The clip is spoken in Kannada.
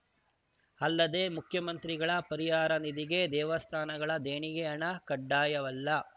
ಅಲ್ಲದೆ ಮುಖ್ಯಮಂತ್ರಿಗಳ ಪರಿಹಾರ ನಿಧಿಗೆ ದೇವಸ್ಥಾನಗಳ ದೇಣಿಗೆ ಹಣ ಕಡ್ಡಾಯವಲ್ಲ